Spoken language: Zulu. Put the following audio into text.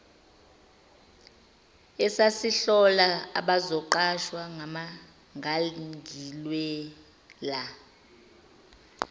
esasihlola abazoqashwa ngangilwela